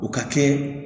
O ka kɛ